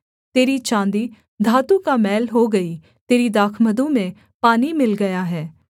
तेरी चाँदी धातु का मैल हो गई तेरे दाखमधु में पानी मिल गया है